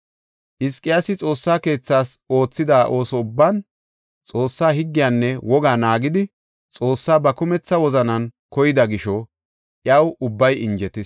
Hizqiyaasi Xoossa keethas oothida ooso ubban, Xoossa higgiyanne wogaa naagidi Xoossaa ba kumetha wozanan koyida gisho iyaw ubbay injetis.